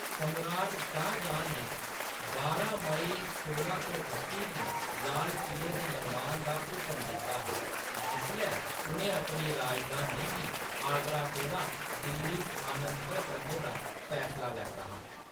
सम्राट शाह्‌जहां ने बारां मई सोलां सौ ठत्ती गी लाल क़िले दे निर्माण दा हुकम दित्ता हा, जिसलै उʼनें अपनी राजधानी गी आगरा कोला दिल्ली स्थानांतर करने दा फैसला लैत्ता हा।